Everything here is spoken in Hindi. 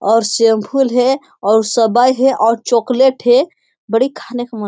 और शैंपूल और उ सबे हैं और चॉकलेट है बड़ी खाने का मन --